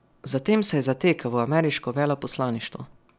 Zatem se je zatekel v ameriško veleposlaništvo.